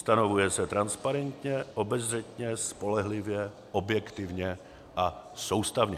Stanovuje se transparentně, obezřetně, spolehlivě, objektivně a soustavně.